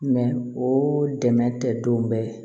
o dɛmɛ tɛ don bɛɛ ye